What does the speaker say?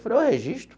Falei, eu registro.